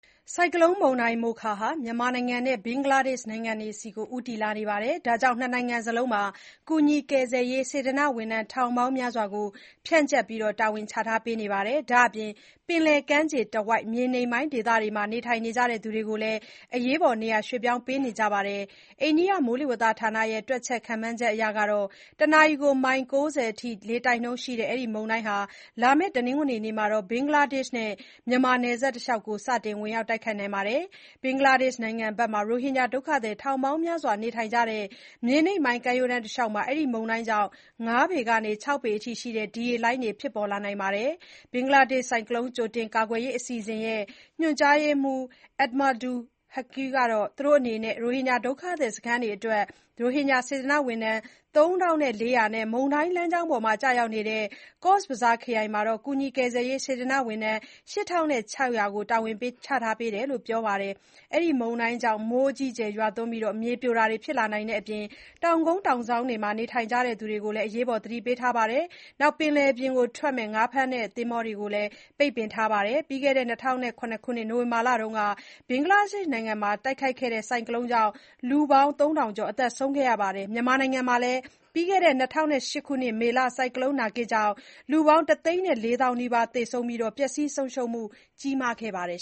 ဆိုင်ကလုန်း မုန်တိုင်း Mocha ဟာ မြန်မာ နဲ့ ဘင်္ဂလားဒေ့ရှ်နိုင်ငံ တွေဆီကို ဦးတည်နေတဲ့အတွက် ၂ နိုင်ငံစလုံးမှာ ကူညီကယ်ဆယ်ရေး စေတနာ့ဝန်ထမ်း ထောင်ပေါင်းများစွာကို ဖြန့်ကျက်တာဝန်ပေးထားပါတယ်။ ဒါအပြင် ပင်လယ်ကမ်းချေတဝိုက် မြေနိမ့်ပိုင်းဒေသတွေမှာ နေထိုင်ကြသူတွေကိုလည်း နေရာရွှေ့ပြောင်းပေးနေကြပါတယ်။ အိန္ဒိယ မိုးလေဝသဌာန ရဲ့ တွက်ချက် ခန့်မှန်းချက်အရ တနာရီ မိုင် ၉ဝ အထိ လေတိုက်နှုန်းရှိတဲ့ အဲဒီမုန်တိုင်းဟာ လာမယ့် တနင်္ဂနွေနေ့မှာ ဘင်္ဂလားဒေ့ရှ့် နဲ့ မြန်မာနယ်စပ် တလျှောက်ကို စတင် ဝင်ရောက်နိုင်ပါတယ်။ ဘင်္ဂလားဒေ့ရှ်နိုင်ငံဖက် ရိုဟင်ဂျာ ဒုက္ခသည် ထောင်ပေါင်းများစွာနေထိုင်ကြတဲ့ မြေနိမ့်ပိုင်း ကမ်းရိုးတန်းတလျှောက်မှာ အဲဒီမုန်တိုင်းကြောင့် ၅ ပေကနေ ၆ ပေအထိရှိတဲ့ ဒီရေလှိုင်းတွေ ဖြစ်ပေါ်လာနိုင်တယ်လို့လည်း ခန့်မှန်းထားပါတယ်။ ဘင်္ဂလားဒေ့ရှ့် ဆိုင်ကလုန်း ကြိုတင်ကာကွယ်ရေး အစီအစဉ်ရဲ့ ညွှန်ကြားရေးမှူး Ahmadul Haque ကလည်း သူတို့အနေနဲ့ ရိုဟင်ဂျာဒုက္ခသည်စခန်းအတွက် ရိုဟင်ဂျာ စေတနာ့ဝန်ထမ်း ၃ ထောင် ၄ ရာ နဲ့ မုန်တိုင်းလမ်းကြောင်းပေါ်ကျရောက်နိုင်တဲ့ Cox's Bazar ခရိုင် မှာ ကူညီကယ်ဆယ်ရေး စေတနာ့ဝန်ထမ်း ၈ ထောင် ၆ ရာ ဖြန့်ကျက်တာဝန်ပေးထားကြောင်းပြောပါတယ်။ အဲဒီ မုန်တိုင်းကြောင့် မိုးအကြီးအကျယ်ရွာသွန်းနိုင်ပြီး မြေပြိုတာတွေ ဖြစ်လာနိုင်တဲ့အ ကြောင်း တောင်ကုန်း တောင်စောင်းတွေမှာ နေထိုင်ကြသူတွေကို သတိပေးထားတယ်လို့လည်း ပြောပါတယ်။ ဒါ့အပြင် ပင်လယ်ပြင် ငါးဖမ်းထွက်တဲ့ သင်္ဘောတွေကိုလည်း ပိတ်ပင်ထားလိုက်တယ်လို့ ပြောပါတယ်။ ပြီးခဲ့တဲ့ ၂ဝဝ၇ ခုနှစ် နိုဝင်ဘာလက ဘင်္ဂလားဒေ့ရှ့်နိုင်ငံမှာ ဆိုင်ကလုန်း Sidr မုန်တိုင်းကြောင့် လူပေါင်း လူပေါင်း ၃ ထောင်ကျော် သေဆုံးခဲ့ပါတယ်။ မြန်မာနိုင်ငံမှာလည်း ၂ဝဝ၈ ခုနှစ် မေလက ဆိုင်ကလုန်း နာဂစ်ကြောင်း လူပေါင်း တသိန်း ၄ သောင်းနီးပါး သေဆုံးပြီး ပျက်စီးဆုံးရှုံးမှုတွေ ကြီးမားခဲ့ပါတယ်